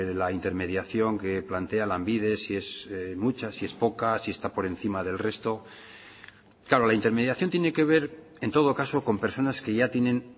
la intermediación que plantea lanbide si es mucha si es poca si está por encima del resto claro la intermediación tiene que ver en todo caso con personas que ya tienen